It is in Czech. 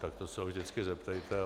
Na to se ho vždycky zeptejte.